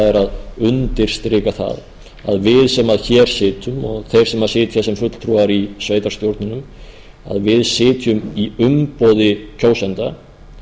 er að undirstrika það að við sem hér sitjum og þeir sem sitja sem fulltrúar í sveitarstjórnunum að við sitjum í umboði kjósenda